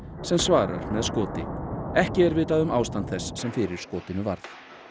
sem svarar með skoti ekki er vitað um ástand þess sem fyrir skotinu varð